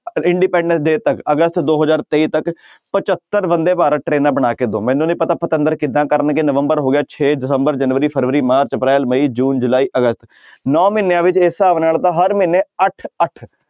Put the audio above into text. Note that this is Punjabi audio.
Independence day ਤੱਕ ਅਗਸਤ ਦੋ ਹਜ਼ਾਰ ਤੇਈ ਤੱਕ ਪਜੱਤਰ ਬੰਦੇ ਭਾਰਤ ਟਰੇਨਾਂ ਬਣਾ ਕੇ ਦਓ ਮੈਨੂੰ ਨੀ ਪਤਾ ਪਤੰਦਰ ਕਿੱਦਾਂ ਕਰਨਗੇ ਨਵੰਬਰ ਹੋ ਗਿਆ ਛੇ, ਦਸੰਬਰ, ਜਨਵਰੀ, ਫਰਵਰੀ, ਮਾਰਚ, ਅਪ੍ਰੈਲ, ਮਈ, ਜੂਨ, ਜੁਲਾਈ, ਅਗਸਤ ਨੋਂ ਮਹੀਨਿਆਂ ਵਿੱਚ ਇਸ ਹਿਸਾਬ ਨਾਲ ਤਾਂ ਹਰ ਮਹੀਨੇ ਅੱਠ ਅੱਠ